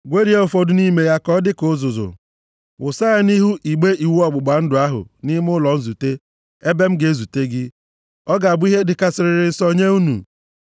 Gwerie ụfọdụ nʼime ya ka ọ dịka uzuzu. Wụsa ya nʼihu igbe iwu ọgbụgba ndụ ahụ nʼime ụlọ nzute, ebe m ga-ezute gị. Ọ ga-abụ ihe dịkarịsịrị nsọ nye unu.